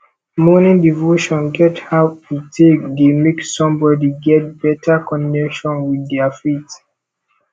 morning devotion get how e take dey make somebody get better connection with their faith